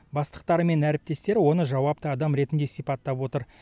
бастықтары мен әріптестері оны жауапты адам ретінде сипаттап отыр